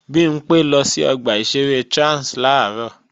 Bimpé lọ sí ọgbà ìṣeré Trans làárọ̀